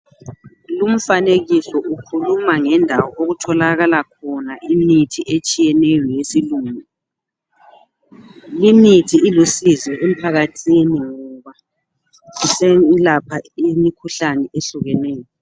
Lumfanekiso ukhuluma ngendawo okutholakala khona imithi etshiyeneyo yesilungu. Limithi ilusizi emphakathini ngoba iselapha imikhuhlane ehlukeneyo.